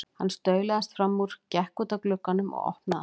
Hann staulaðist fram úr, gekk út að glugganum og opnaði hann.